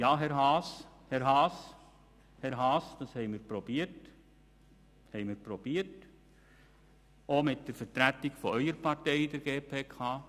– Ja, Herr Grossrat Haas, das haben wir versucht, auch mit der Vertretung Ihrer Partei in der GPK.